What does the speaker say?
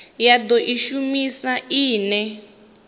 ya do i shumisa ine